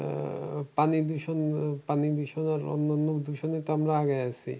আহ পানিদূষণ পানিদূষণ আর অন্যান্য দূষণে তো আমরা আগে আছি।